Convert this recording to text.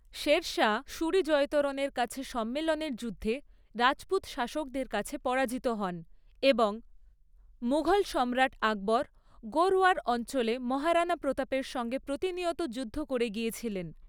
শের শাহ সুরি জয়তারণের কাছে সাম্মেলের যুদ্ধে রাজপুত শাসকদের কাছে পরাজিত হন এবং মুঘল সম্রাট আকবর গোরওয়ার অঞ্চলে মহারাণা প্রতাপের সঙ্গে প্রতিনিয়ত যুদ্ধ করে গিয়েছিলেন।